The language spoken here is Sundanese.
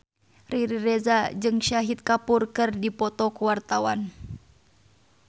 Riri Reza jeung Shahid Kapoor keur dipoto ku wartawan